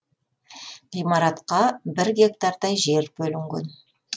ғимаратқа бір гектардай жер бөлінген